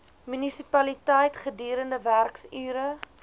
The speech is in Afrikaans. munisipaliteit gedurende werksure